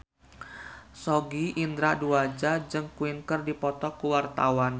Sogi Indra Duaja jeung Queen keur dipoto ku wartawan